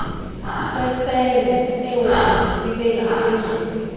kwesende oobhontsi bengaphezulu